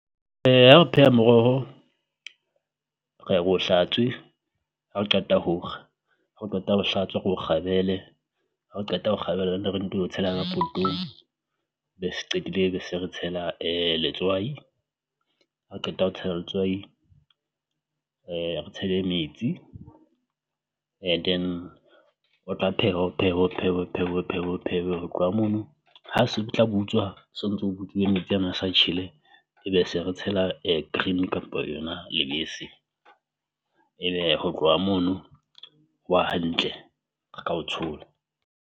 Ha o pheha moroho re ya bo hlatswe ha o qeta ho kga, ha o qeta ho o hlatswa ro o kgabele ha qeta ho o kgabela tshela ka be se qetile be se re tshela letswai ha o qeta ho tshela letswai re tshele metsi. And then ho tla phehwa ho phehwe ho phehwe ho phehwe ho phehwe ho phehwe ho tloha mono ha se di butswa, so ntso butsuwe metsi ana a sa tjhele ebe se re tshela green kampo yona lebese ebe ho tloha mono hwa hantlere ka o tshola.